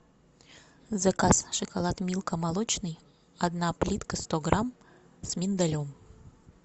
заказ шоколад милка молочный одна плитка сто грамм с миндалем